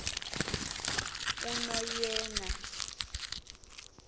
unoyena